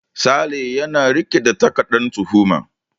Sale yana riƙe da takardan tuhuma.